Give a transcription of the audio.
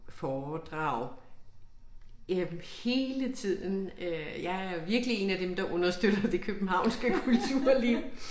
Foredrag jamen hele tiden øh jeg er virkelig én af dem der understøtter det københavnske kulturliv